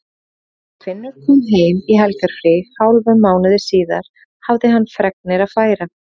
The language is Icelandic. Þegar Finnur kom heim í helgarfrí hálfum mánuði síðar hafði hann fregnir að færa.